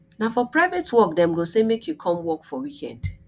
na for private work dem go say make you come work weekend